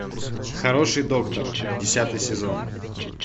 хороший доктор десятый сезон